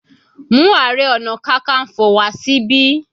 Mú Ààrẹ ọna kankanfo wá síbi.